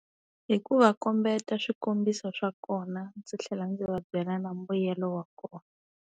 Hi ku va kombeta swikombiso swa kona, ndzi tlhela ndzi va byela na mbuyelo wa kona.